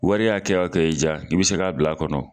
Wari hakɛ hakɛ y'i ja i bɛ se k'a bila a kɔnɔ.